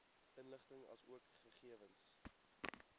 inligting asook gegewens